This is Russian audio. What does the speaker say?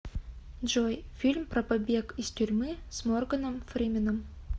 джой фильм про побег из тюрьмы с морганом фрименом